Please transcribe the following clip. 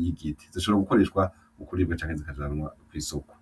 y'igiti, zoshobora gukoreshwa mu kuribwa canke zikajanwa kw'isoko.